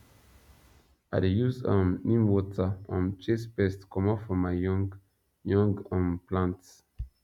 i dey use um neem water um chase pest commot from my young young um plants